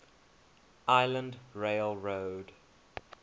island rail road